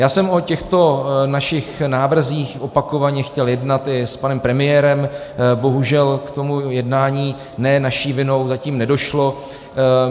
Já jsem o těchto našich návrzích opakovaně chtěl jednat i s panem premiérem, bohužel k tomu jednání ne naší vinou zatím nedošlo.